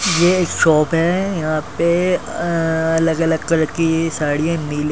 यह शॉप है यहाँ पे अ अलग अलग कलर की साड़िया नीली।